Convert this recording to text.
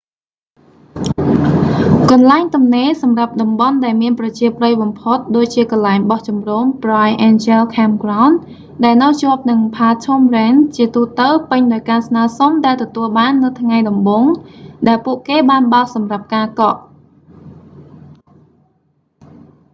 កន្លែងទំនេរសម្រាប់តំបន់ដែលមានប្រជាប្រិយបំផុតដូចជាកន្លែងបោះជំរុំ bright angel campground ដែលនៅជាប់នឹង phantom ranch ជាទូទៅពេញដោយការស្នើសុំដែលទទួលបាននៅថ្ងៃដំបូងដែលពួកគេបានបើកសម្រាប់ការកក់